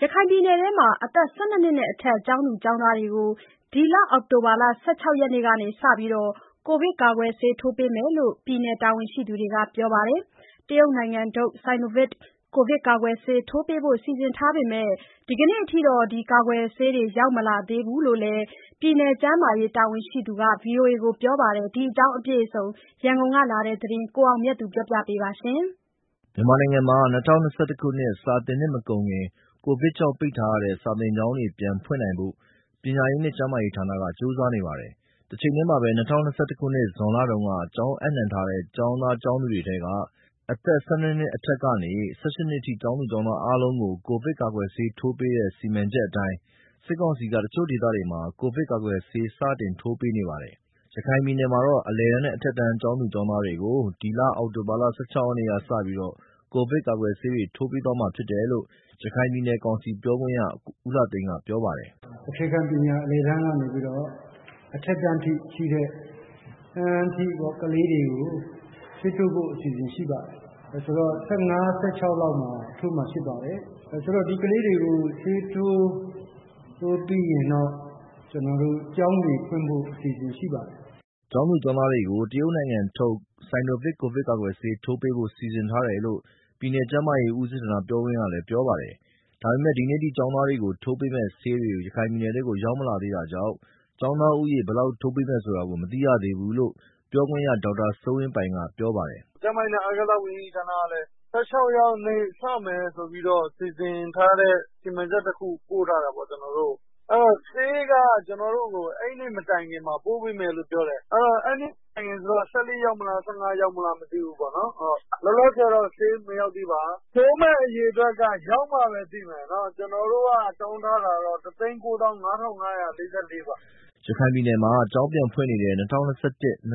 ရခိုင်ပြည်နယ်ထဲမှာ ၁၂ နှစ်နဲ့ အထက် ကျောင်းသူကျောင်းသားတွေကို ဒီလ အောက်တိုဘာ ၁၆ ရက်နေ့က စတင်ပြီး ကိုဗစ်ကာကွယ်ဆေးထိုးပေးမယ်လို့ ပြည်နယ်တာဝန်ရှိသူတွေက ပြောပါတယ်။ တရုတ်နိုင်ငံထုတ် Sinovac ကိုဗစ်ကာကွယ်ဆေးထိုးပေးဖို့ စီစဉ်ထားပေမဲ့ ဒီနေ့ ထိတော့ ကာကွယ်ဆေးတွေ ရောက်မလာသေးဘူးလို့ ပြည်နယ်ကျန်းမာရေးတာဝန်ရှိသူက ဗွီအိုအေကို ပြောပါတယ်။ဒီအကြောင်း ရန်ကုန်ကလာတဲ့သတင်းအပြည့်အစုံကို ကိုအောင်မြတ်သူက တင်ပြပေးထားပါတယ်။ မြန်မာနိုင်ငံမှာ ၂၀၂၁ ခုနှစ် စာသင်နှစ်မကုန်ခင် ကိုဗစ်ကြောင့်ပိတ်ထားတဲ့ စာသင်ကျောင်းတွေ ပြန်ဖွင့်နိုင်ဖို့ ပညာရေးနဲ့ကျန်းမာရေးဌာနက ကြိုးစားနေပါတယ်။ တချိန်တည်းမှာပဲ ၂၀၂၁ ဇွန်လတုန်းက ကျောင်းအပ်နှံထားတဲ့ ကျောင်းသားကျောင်းသူတွေထဲက အသက် ၁၂ နှစ်နဲ့ အထက်ကနေ ၁၈ နှစ်အထိ ကျောင်းသူ ကျောင်းသားအားလုံးကို ကိုဗစ်ကာကွယ်ဆေထိုးပေးတဲ့ စီမံချက်အတိုင်း စစ်ကောင်စီက တချို့ဒေသတွေမှာ ကိုဗစ်ကာကွယ်ဆေးတွေ စတင် ထိုးပေးနေပါတယ်။ ရခိုင်ပြည်နယ်မှာတော့ အလယ်တန်းနဲ့ အထက်တန်းကျောင်းသူ ကျောင်းသားတွေကို ဒီလ အောက်တိုဘာ ၁၆ ရက်နေ့ကစပြီး ကိုဗစ်ကာကွယ်ဆေးတွေ ထိုးပေးသွားမှာဖြစ်တယ်လို့ ရခိုင်ပြည်နယ် ကောင်စီပြောခွင့်ရဦးလှသိန်းက ပြောပါတယ်။ “ကျောင်းသားကျောင်းသူတွေပေါ့၊ အလယ်တန်းအစ ၁၂ နှစ်အထက်ဆိုတော့ အခုအချိန် မှာတော့ အခြေခံပညာအလယ်တန်းကနေ အထက်အတန်းအထိ ကလေးတွေကို ဆေးထိုးဖို့ အစီအစဉ်ရှိပါတယ်။ ဆိုတော့ ဆယ့်ငါး၊ ဆယ့်ခြောက်လောက်မှာ ထိုးမှာဖြစ်ပါတယ်။ ဒီကလေးတွေကို ဆေးထိုးပြီးရင်တော့ ကျနော်တို့ ကျောင်းတွေဖွင့်ဖို့ အစီအစဉ်ရှိပါတယ်။” ကျောင်းသူ ကျောင်းသားတွေကို တရုတ်နိုင်ငံထုတ် Sinovac ကိုဗစ်ကာကွယ်ဆေး ထိုးပေးဖို့ စီစဉ်ထားတယ်လို့ ပြည်နယ်ကျန်းမာရေးဦးစီးဌာနပြောခွင့်ရက ပြောပါတယ်။ ဒါပေမဲ့ ဒီနေ့ အထိ ကျောင်းသားတွေကို ထိုးပေးမယ့်ဆေးတွေ ရခိုင်ပြည်နယ်ကို မရောက်သေးတာကြောင့် ကျောင်းသားဦးရေ ဘယ်လောက်ထိုးပေးမယ် ဆိုတာကို မသိရသေးဘူးလို့ ပြောခွင့်ရ ဒေါက်တာ စိုးဝင်းပိုင်ကပြောပါတယ်။ “၁၆ ရက်နေ့ တနိုင်ငံလုံးမှာ စမယ်လို့ ကျနော်သိထားတယ်။ ကျန်းမာရေးနဲ့ အားကစားဝန်ကြီးဌာနကလည်း ၁၆ ရက်နေ့ စမယ်ဆိုပြီးတော့ စီစဉ်ထားတဲ့ စီမံချက်တခု ကျနော်တို့ကို ပို့ထားတာပေါ့။ အဲဒီတော့ စမယ့်ရက်က ၁၆ ရက်နေ့လို့ သိထားပါတယ်။ ဆေးက ကျနော်တို့ကို အဲဒီနေ့မတိုင်ခင်မှာ ပို့ပေးမယ်လို့ ပြောတယ်။ အဲဒီနေ့မတိုင်ခင်ဆိုတော့ ၁၄ ရောက်မလား၊ ၁၅ ရောက်မလား မပြောတတ်ဘူး။ လောလောဆယ်တော့ ဆေးမရောက်သေးပါ။ plan ရောက်ထားပါတယ်။ ၁၆ ရက်နေ့ စမယ်ဆိုတဲ့ စီမံချက်တခု ရောက်ထားပါတယ်။ Sinovac ပါ ထိုးမယ့်အရေအတွက်က ရောက်မှပဲသိမယ်။ ကျနော်တို့ကတော့ ၁၉၅,၅၄၄ ပါ။” ရခိုင်ပြည်နယ်မှာ ကျောင်းပြန်ဖွင့်နေတဲ့ ၂၀၂၁ -၂၀၂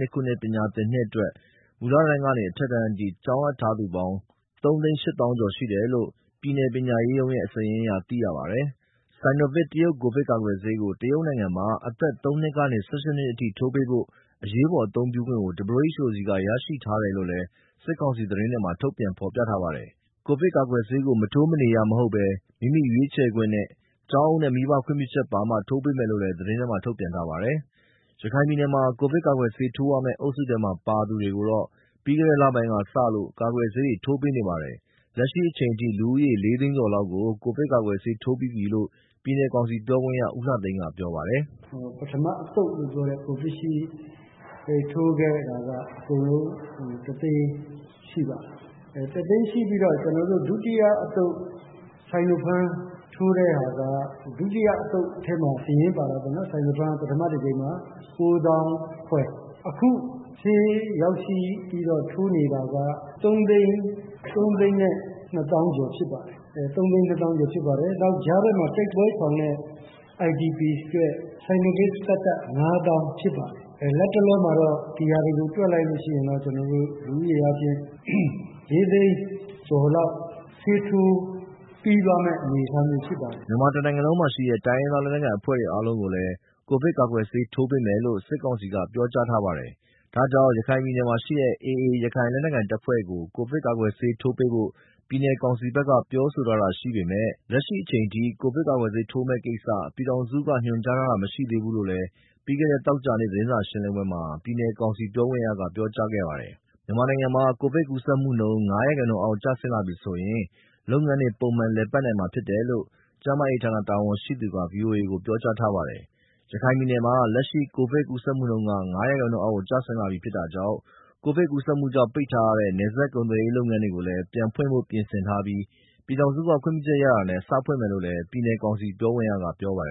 ၂ ခုနှစ် ပညာသင်နှစ်အတွက် မူလတန်းကနေ အထက်တန်းအထိ ကျောင်းအပ်ထားသူ ကျောင်းသား စုစုပေါင်း ၃၈၀,၀၀၀ ကျော်ရှိတယ်လို့ ပြည်နယ်ပညာရေးရုံးရဲ့ စာရင်းအရ သိရပါတယ်။Sinovac တရုတ်ကိုဗစ်ကာကွယ်ဆေးကို တရုတ်နိုင်ငံမှာ အသက် ၃ နှစ်ကနေ ၁၈ နှစ်အထိ ထိုးပေးဖို့ အရေးပေါ် အသုံးပြုခွင့် WHO ဆီက ရရှိထားတယ်လို့ စစ်ကောင်စီသတင်းတွေမှာ ထုတ်ပြန် ဖော်ပြထားပါတယ်။ ကိုဗစ်ကာကွယ်ဆေးကို မထိုးမနေရ မဟုတ်ဘဲ မိမိရွေးချယ်ခွင့်၊ ကျောင်းအုပ်နဲ့ မိဘခွင့်ပြုချက်ပါမှ ထိုးပေးမယ်လို့လည်း သတင်းတွေမှာ ထုတ်ပြန်ထားပါတယ်။ ရခိုင်ပြည်နယ်ထဲမှာ ကိုဗစ်ကာကွယ်ဆေး ထိုးရမယ့် အုပ်စုထဲပါသူတွေကိုတော့ ပြီးခဲ့တဲ့လပိုင်းတွေထဲက စလို့ ကာကွယ်ဆေးတွေ ထိုးပေးနေပါတယ်။ လက်ရှိအချိန်ထိ လူဦးရေ လေးသိန်းကျော်လောက် ကိုဗစ်ကာကွယ်ဆေးထိုး ပြီးပြီလို့ ပြည်နယ်ကောင်စီပြောခွင့်ရ ဦးလှသိန်းကပြောပါတယ်။ “ကျနော်ယေဘုယျအားဖြင့်ပြောပါမယ်။ ပထမ Covidshield ထိုးခဲ့တာက အကုန်လုံး တသိန်းရှိပါတယ်။ ဒုတိယအသုတ် Sinopharm ထိုးတဲ့ဟာ စာရင်းပါတာက ကိုးသောင်းခွဲ၊ အခုဆေးရောက်ပြီးတော့ ထိုးနေတာက သုံးသိန်းနဲ့ နှစ်သောင်းကျော် ဖြစ်ပါတယ်။ နောက်ကြားထဲမှာ တိုက်ပွဲရှောင်နဲ့ IDP တွေအတွက် Sinopharm သတ်သတ် ငါးသောင်းဖြစ် ပါတယ်။ လတ်တလောမှာတော့ ဒီဟာတွေကို တွက်လိုက်ရင် လူဦးရေအားဖြင့် လေးသိန်းကျော် လောက် ဆေးထိုးပြီးသွားမယ့်အနေအထားမှာရှိပါတယ်။” မြန်မာတနိုင်ငံလုံးမှာရှိတဲ့ တိုင်းရင်းသားလက်နက်ကိုင်အဖွဲ့တွေ အားလုံးကိုလည်း ကိုဗစ်ကာကွယ်ဆေးထိုးပေးမယ်လို့ စစ်ကောင်စီက ပြောကြားထားပါတယ်။ ဒါကြောင့် ရခိုင်ပြည်နယ် ထဲမှာရှိတဲ့ AA ရခိုက်လက်နက်ကိုင်အဖွဲ့ကို ကိုဗစ်ကာကွယ်ဆေးထိုးပေးဖို့ ပြည်နယ်ကောင်စီဘက်က ပြောဆိုထားတာရှိပေမယ့် လက်ရှိအချိန်အထိ ကိုဗစ်ဆေးထိုးမယ့်ကိစ္စ ပြည်ထောင် စုက ညွန်ကြားလာတာတွေ မရှိသေးလို့လည်း ပြီးခဲ့တဲ့ သောကြာနေ့က သတင်းစာရှင်းလင်းပွဲမှာ ပြည်နယ်ကောင်စီပြောခွင့်ရက ပြောကြားခဲ့ပါတယ်။ မြန်မာနိုင်ငံမှာ ကိုဗစ်ကူးစက်မှုနှုန်း ၅% အောက် ကျဆင်းလာပြီဆိုရင် လုပ်ငန်းတွေ ပုံမှန် ပြန်လည် လည်ပတ်နိင်မှာဖြစ်တယ်လို့ ကျန်းမာရေးဌာန တာဝန်ရှိသူက ဗွီအိုအေကို ပြောထားပါတယ်။ ရခိုင်ပြည်နယ်မှာ လက်ရှိ ကိုဗစ်ကူးစက်မှုနှုန်းက ၅ ရာခိုင်နှုုန်းအောက်ကျဆင်း လာပြီဖြစ်တာကြောင့် ကိုဗစ်ကူးစက်မှုတွေကြောင့် ပိတ်ထားရတဲ့ နယ်စပ်ကုန်သွယ်ရေး လုပ်ငန်းတွေကိုလည်း ပြန်ဖွင့်ဖို့ ပြင်ဆင်ထားပြီး ပြည်ထောင်စုက ခွင့်ပြုချက်ရတာနဲ့ စဖွင့်မယ် လို့လည်း ပြည်နယ်ကောင်စီပြောခွင့်ရက ပြောပါတယ်